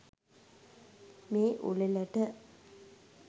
මේ උළෙලට